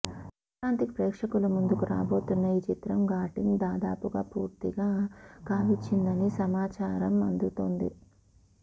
సంక్రాంతికి ప్రేక్షకుల ముందుకు రాబోతున్న ఈ చిత్రం షూటింగ్ దాదాపుగా పూర్తి కావచ్చిందని సమాచారం అందుతోంది